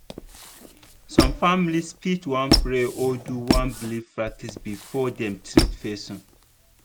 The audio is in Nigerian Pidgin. some families fit wan pray or do one belief practice before dem treat person.